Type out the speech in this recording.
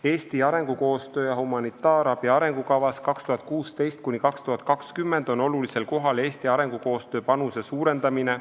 Eesti arengukoostöö ja humanitaarabi arengukavas 2016–2020 on olulisel kohal Eesti arengukoostöö panuse suurendamine.